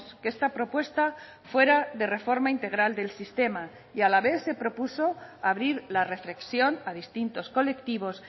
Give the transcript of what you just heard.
que esta propuesta fuera de reforma integral del sistema y a la vez se propuso abrir la reflexión a distintos colectivos